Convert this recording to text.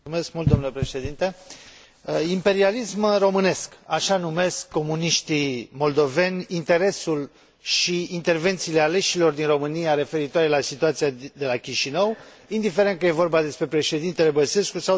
Imperialism românesc, așa numesc comuniștii moldoveni interesul și intervențiile aleșilor din România referitoare la situația de la Chișinău, indiferent că e vorba despre președintele Băsescu sau despre deputații europeni.